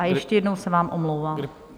A ještě jednou se vám omlouvám.